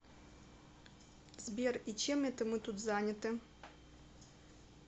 сбер и чем это мы тут заняты